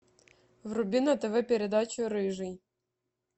вруби на тв передачу рыжий